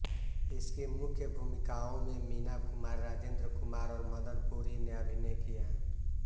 इसकी मुख्य भूमिकाओं में मीना कुमारी राजेन्द्र कुमार और मदन पुरी ने अभिनय किया